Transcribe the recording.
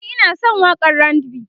ni Ina San waƙan RAndB